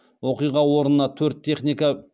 оқиға орнына төрт техника